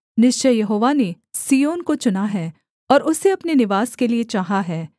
निश्चय यहोवा ने सिय्योन को चुना है और उसे अपने निवास के लिये चाहा है